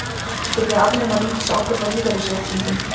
Vilja afnema ríkisábyrgð á lífeyrisréttindum